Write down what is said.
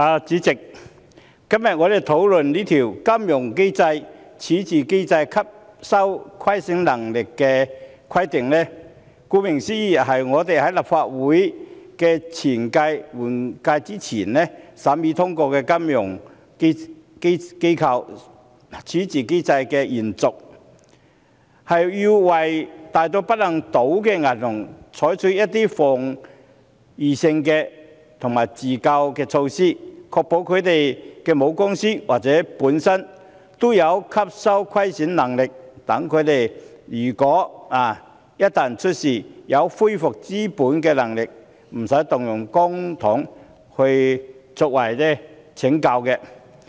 主席，我們今天辯論的《金融機構規則》，顧名思義，是我們在立法會換屆前審議通過的《金融機構條例》的延續，要為大到不能倒的銀行採取一些防禦性的自救措施，確保它們的母公司或本身也有吸收虧損能力，即使它們一旦出事，也有恢復資本的能力，無須動用公帑拯救。